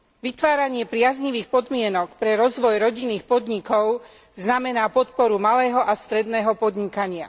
Vytváranie priaznivých podmienok pre rozvoj rodinných podnikov znamená podporu malého a stredného podnikania.